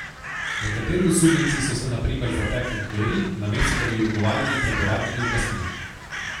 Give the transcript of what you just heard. Nekateri osumljenci so se na primer zatekli k veri, namesto da bi odgovarjali pred uradnimi oblastmi.